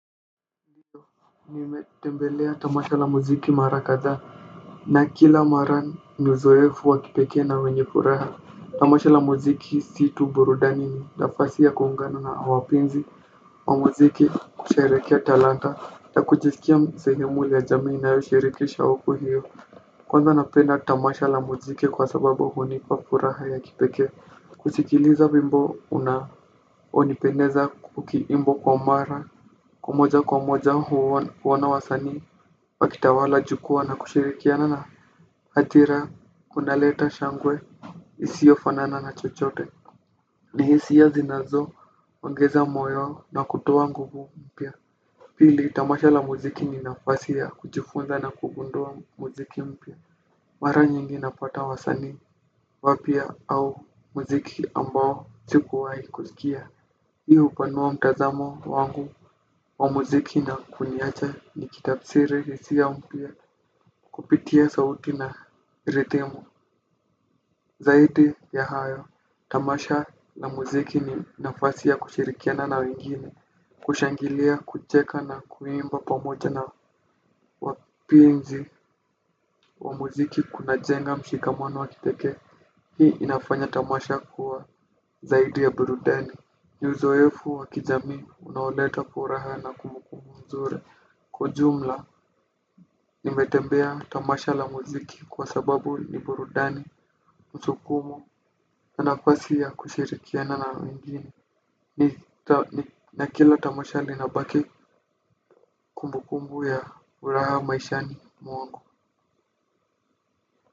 Nimetembelea tamasha la muziki mara kadhaa na kila mara, ni uzoefu wa kipekee na wenye furaha. Tamasha la muziki si tu burudani ni nafasi ya kuungana na wapenzi wa muziki kusherehekea talanta, na kujisikia sehemu ya jamii inayoshiriki siku hio. Kwanza napenda tamasha la muziki kwa sababu hunipa furaha ya kipekee. Kusikiliza wimbo unaonipendeza ukiimbwa kwa mara kwa moja kwa moja kuona wasanii. Wakitawala jukwaa na kushirikiana na hatira kuna leta shangwe isio fanana na chochote. Nihisia zinazo ongeza moyo na kutoa nguvu mpya. Pili tamasha la muziki ni nafasi ya kujifunza na kugundua muziki mpya. Mara nyingi napata wasanii wapya au muziki ambao sikuwahi kusikia. Hii hupanua mtazamo wangu wa muziki na kuniacha ni kitafsiri hisia mpya kupitia sauti na rithimu. Zaidi ya hayo, tamasha na muziki ni nafasi ya kushirikiana na wengine. Kushangilia, kucheka na kuimba pamoja na wapenzi wa muziki kunajenga mshikamano wa kipekee. Hii inafanya tamasha kuwa zaidi ya burudani. Ni uzoefu wa kijamii unaoleta furaha na kumbu kumbu mzuri. Kwa jumla, nimetembea tamasha la muziki kwa sababu ni burudani, msukumo, na nafasi ya kushirikiana na wengine. Na kila tamasha linabaki kumbu kumbu ya uraha maishani mwangu.